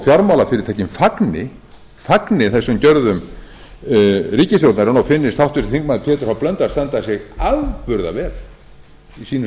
fjármálafyrirtækin fagni þessum gjörðum ríkisstjórnarinnar og finnist háttvirtur þingmaður pétur h blöndal standa sig afburða vel í sínu